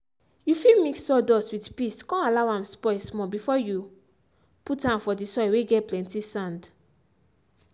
you fit mix sawdust with piss come allow and spoil small before you put and for the soil whey get plenty sand.